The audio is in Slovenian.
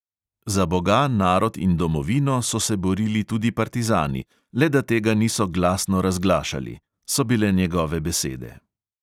"Za boga, narod in domovino so se borili tudi partizani, le da tega niso glasno razglašali," so bile njegove besede.